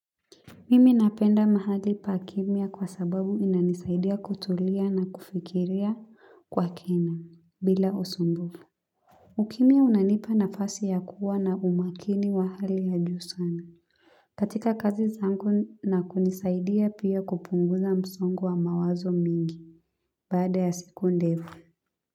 Mimi napenda mahali pakimya kwa sababu inanisaidia kutulia na kufikiria kwa kina bila usumbufu ukimya unanipa nafasi ya kuwa na umakini wa hali ya juu sana. Katika kazi zangu na kunisaidia pia kupunguza msongo wa mawazo mingi baada ya siku ndefu.